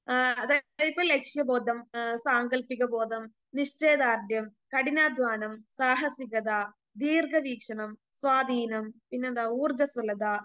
ആ അതായത് ലക്ഷ്യബോധം, ആ സാങ്കല്പിക ബോധം, നിശ്ചയദാർഢ്യം, കഠിനാധ്വാനം, സാഹസികത, ദീർഘവീക്ഷണം, സ്വാധീനം, പിന്നെന്താ ഊർജ്ജസ്വലത,